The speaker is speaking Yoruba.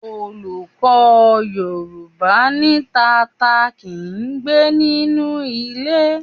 Olùkọ́ Yorùbá ní tata kì í gbé nínú ilé.